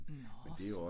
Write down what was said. Nårh